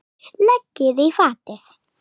Leggið í fatið.